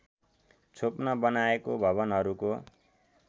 छोप्न बनाएको भवनहरूको